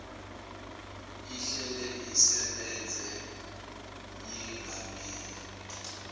ihlele isebenze yengamele